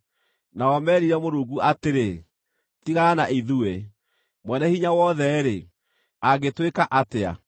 Nao meerire Mũrungu atĩrĩ, ‘Tigana na ithuĩ! Mwene-Hinya-Wothe-rĩ, angĩtwĩka atĩa?’